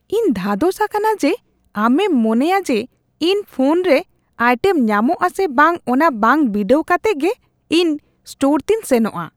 ᱤᱧ ᱫᱷᱟᱫᱚᱥ ᱟᱠᱟᱱᱟ ᱡᱮ ᱟᱢᱮᱢ ᱢᱚᱱᱮᱭᱟ ᱡᱮ ᱤᱧ ᱯᱷᱳᱱ ᱨᱮ ᱟᱭᱴᱮᱢ ᱧᱟᱢᱚᱜᱼᱟ ᱥᱮ ᱵᱟᱝ ᱚᱱᱟ ᱵᱟᱝ ᱵᱤᱰᱟᱹᱣ ᱠᱟᱛᱮᱜ ᱜᱮ ᱤᱧ ᱥᱴᱚᱨ ᱛᱮᱧ ᱥᱮᱱᱚᱜᱼᱟ ᱾